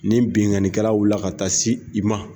Ni binnkannikɛla wulila ka taa se i ma